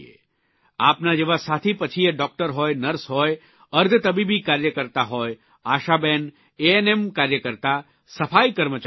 આપના જેવા સાથી પછી એ ડૉકટર હોય નર્સ હોય અર્ધતબીબી કાર્યકર્તા હોય આશાબહેન એએનએમ કાર્યકર્તા સફાઇ કર્મચારી હોય વગેરે